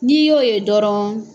N'i y'o ye dɔrɔn